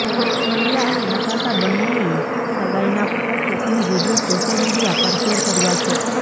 પંડ્યા અને નતાશા બંને એ સગાઈના ફોટો અને વીડિયો સોશિયલ મીડિયા પર શેર કર્યા છે